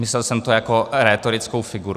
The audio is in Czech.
Myslel jsem to jako rétorickou figuru.